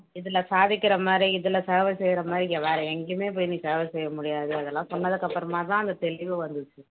இதுல சாதிக்கிற மாதிரி இதுல சேவை செய்யற மாதிரி வேற எங்கேயுமே போய் நீ சேவை செய்ய முடியாது அதெல்லாம் சொன்னதுக்கு அப்புறமாதான் அந்த தெளிவு வந்துச்சு